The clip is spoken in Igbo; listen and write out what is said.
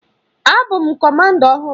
A bụ m Kọmanda ọhụrụ.